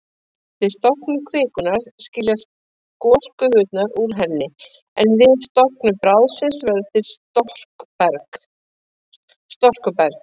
Við storknun kvikunnar skiljast gosgufurnar úr henni, en við storknun bráðsins verður til storkuberg.